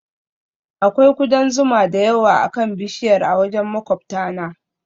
Akwai kudan zuma da yawa akan bishiyar a wajen maƙwabtana